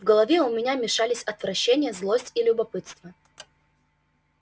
в голове у меня мешались отвращение злость и любопытство